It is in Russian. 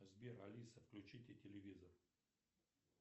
сбер алиса включите телевизор